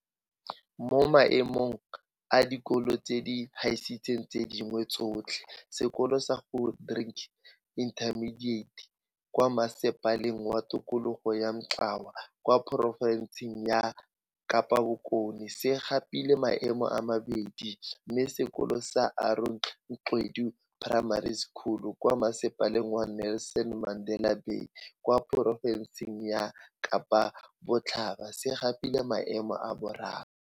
Mo Maemong a Dikolo tse di Gaisitseng tse Dingwe Tsotlhe, sekolo sa Grootdrink Intermediate kwa Masepaleng wa Tikologo wa Mgcawu kwa porofenseng ya Kapa Bokone, se gapile maemo a bobedi, mme sekolo sa Aaron Gqedu Primary School, kwa Masepaleng wa Nelson Mandela Bay kwa porofenseng ya Kapa Botlhaba se gapile maemo a boraro.